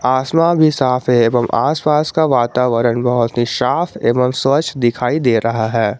आसमान भी साफ है एवं आसपास का वातावरण बहुत ही साफ एवं स्वच्छ दिखाई दे रहा है।